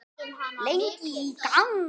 Lengi í gang.